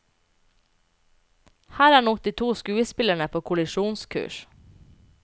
Her er nok de to skuespillerne på kollisjonskurs.